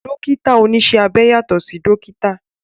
Dókítà oníṣẹ́ abẹ yàtọ̀ sí dókítà